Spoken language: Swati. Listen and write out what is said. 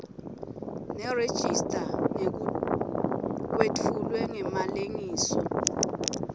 nerejista kwetfulwe ngemalengiso